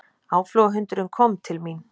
Áflogahundurinn kom til mín.